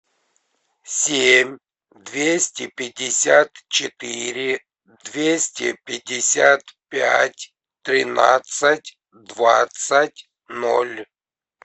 семь двести пятьдесят четыре двести пятьдесят пять тринадцать двадцать ноль